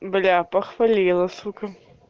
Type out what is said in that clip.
бля похвалила сука